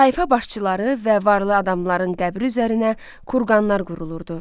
Tayfa başçıları və varlı adamların qəbri üzərinə kurqanlar qurulurdu.